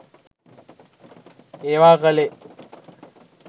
ඒවා කළේ